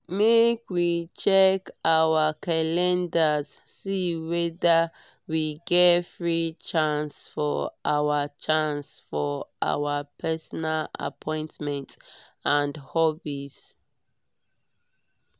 make we check our calendars see weda we get free chance for our chance for our personal appointments and hobbies.